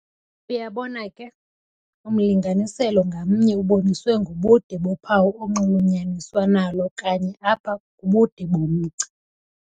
uyabona ke, umlinganiselo ngamnye uboniswe ngobude bophawu onxulunyaniswa nalo kanye apha kubude bomgca.